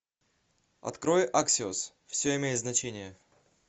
открой аксиос все имеет значение